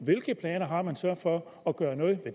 hvilke planer har man så for at gøre noget